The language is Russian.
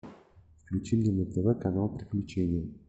включи мне на тв канал приключения